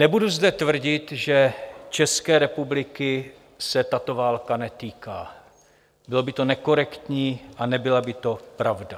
Nebudu zde tvrdit, že České republiky se tato válka netýká, bylo by to nekorektní a nebyla by to pravda.